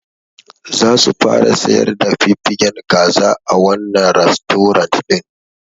Zasu fara sayar da fiffigen kaza a wannan rastorant ɗin.